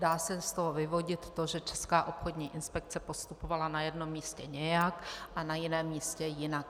Dá se z toho vyvodit to, že Česká obchodní inspekce postupovala na jednom místě nějak a na jiném místě jinak.